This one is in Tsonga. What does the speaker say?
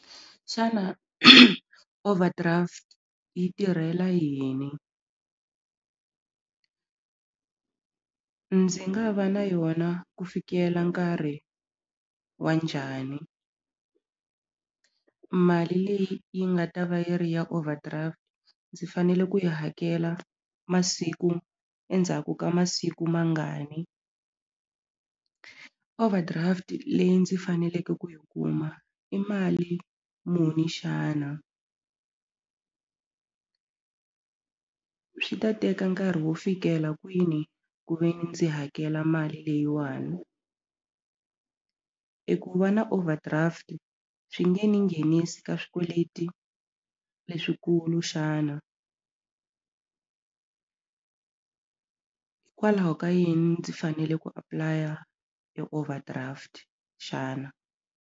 Xana overdraft yi tirhela yini? Ndzi nga va na yona ku fikela nkarhi wa njhani? Mali leyi yi nga ta va yi ri ya overdraft ndzi fanele ku yi hakela masiku endzhaku ka masiku mangani? Overdraft leyi ndzi faneleke ku yi kuma i mali muni xana? Swi ta teka nkarhi wo fikela kwini ku ve ni ndzi hakela mali leyiwani? E ku va na overdraft swi nge ni nghenisi ka swikweleti leswikulu xana? Kwalaho ka yini ndzi fanele ku apulaya e overdraft xana?